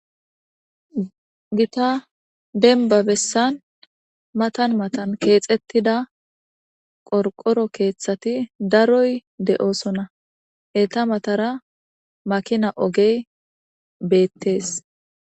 Gita demba gadezan matan matan keexetida qorqoro keethati daroy de'osona. Eta mata makina ogey beetes.